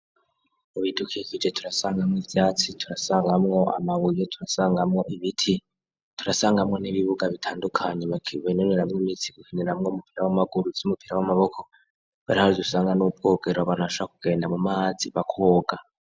Mubidukikije turasangamwo ivyatsi , turasangamwo amabuye, turasangamwo Ibiti ,turasangamwo nibibuga bitandukanye bakinonoreramwo imitsi ivy'umupira wamaguru, ivy'umupira wamaboko hari naho dusangamwo ubwogera abantu barashobora kugenda mumazi bakoga.